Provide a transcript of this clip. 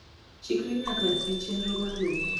chikri nyake e chenro maluo